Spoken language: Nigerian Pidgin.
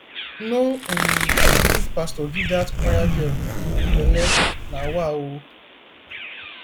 no um be youth pastor give dat choir girl um belle na wa o